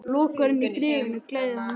Lokaorðin í bréfinu gleðja hann mest.